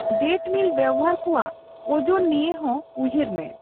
ᱰᱮᱴᱢᱤᱞ ᱵᱮᱵᱦᱟᱨ ᱠᱚᱣᱟᱜ ᱚᱡᱚᱱ ᱱᱤᱭᱟᱹ ᱦᱚᱸ ᱩᱭᱦᱟᱹᱨ ᱢᱮ ᱾